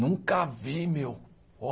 Nunca vi, meu. Ó